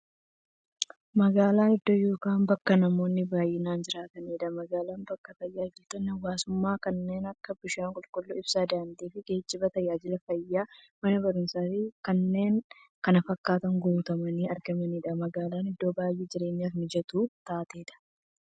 Magaalan iddoo yookiin bakka namoonni baay'inaan jiraataniidha. Magaalan bakka taajajilootni hawwaasummaa kanneen akka; bishaan qulqulluu, ibsaa, daandiifi geejjiba, taajajila fayyaa, Mana baruumsaafi kanneen kana fakkatan guutamanii argamaniidha. Magaalan iddoo baay'ee jireenyaf mijattuu taateedha.